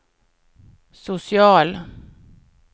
social